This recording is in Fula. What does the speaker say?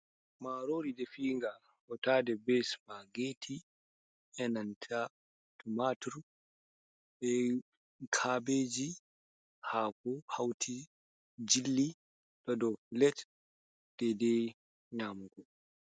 Marori defiga hotade be supageti e nanta tumatur be, kabeji hako hauti jilli ɗo ɗo pilet dede nyamugo.